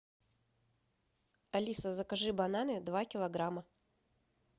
алиса закажи бананы два килограмма